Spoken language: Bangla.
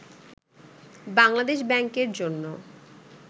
বাংলাদেশ ব্যাংকের জন্য